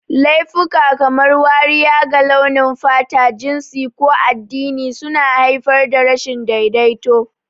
Laifuka kamar wariya ga launin fata, jinsi, ko addini suna haifar da rashin daidaito.